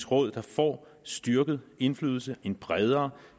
råd der får styrket indflydelse en bredere